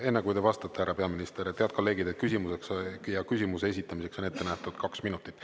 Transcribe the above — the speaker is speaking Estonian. Enne kui te vastate, härra peaminister – head kolleegid, küsimuseks ja küsimuse esitamiseks on ette nähtud kaks minutit.